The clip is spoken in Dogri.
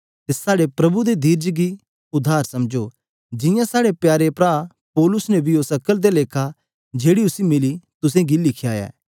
अते साहडे प्रभु दे धीरज गी उद्धार समझो जियां साहडे प्यारे परा पौलुस ने बी ओस अक्ल दे लेखा जेहड़ा उसै मिलेया तुस गी लिखेया ऐ